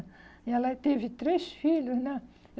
E ela teve três filhos, né?